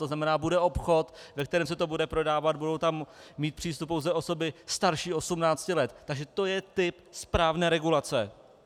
To znamená, bude obchod, ve kterém se to bude prodávat, budou tam mít přístup pouze osoby starší 18 let, takže to je typ správné regulace.